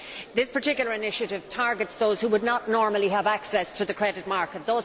This particular initiative targets those who would not normally have access to the credit market